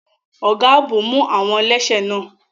Ọ̀gá ààbò mú àwọn ẹlẹ́ṣẹ̀ náà.